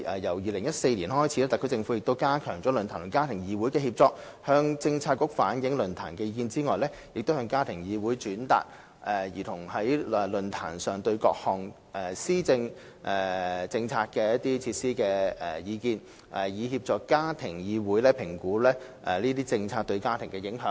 由2014年開始，特區政府亦加強論壇與家庭議會的協作，除向政策局反映論壇意見外，亦向家庭議會轉達兒童在論壇上對各項政策措施的意見，以協助家庭議會評估該等政策對家庭的影響。